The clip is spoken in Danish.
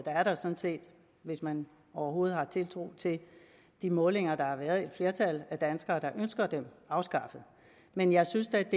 hvis man overhovedet har tiltro til de målinger der har været at et flertal af danskere ønsker dem afskaffet men jeg synes da